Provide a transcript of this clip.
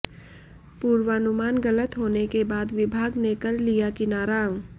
पूर्वानुमान गलत होने के बाद विभाग ने कर लिया किनारा